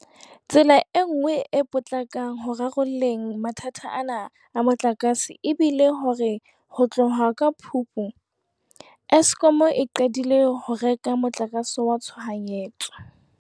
Tsela e nngwe e potlakang ho rarolleng mathata ana a motlakase e bile hore ho tloha ka Phupu, Eskom e qadile ho reka motlakase wa tshohanyetso.